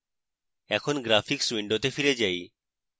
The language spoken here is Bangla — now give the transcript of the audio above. এখন graphics window ফিরে যাই